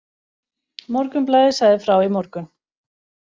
Morgunblaðið sagði frá í morgun.